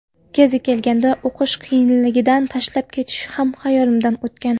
Kezi kelganda, o‘qish qiyinligidan tashlab ketish ham xayolimdan o‘tgan.